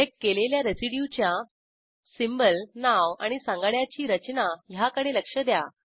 select केलेल्या रेसिड्यूच्या symbol नाव आणि सांगाड्याची रचना ह्याकडे लक्ष द्या